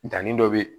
Danni dɔ be ye